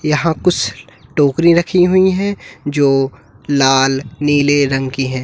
यहां कुछ टोकरी रखी हुई हैं जो लाल नीले रंग की हैं।